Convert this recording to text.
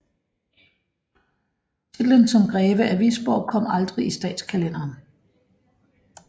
Titlen som greve af Wisborg kom aldrig i statskalenderen